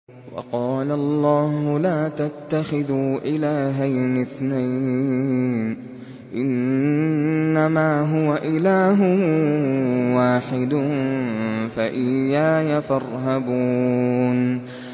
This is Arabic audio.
۞ وَقَالَ اللَّهُ لَا تَتَّخِذُوا إِلَٰهَيْنِ اثْنَيْنِ ۖ إِنَّمَا هُوَ إِلَٰهٌ وَاحِدٌ ۖ فَإِيَّايَ فَارْهَبُونِ